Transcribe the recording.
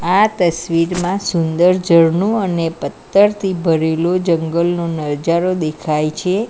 આ તસવીરમાં સુંદર ઝરણું અને પત્થરથી ભરેલો જંગલનો નજારો દેખાય છે.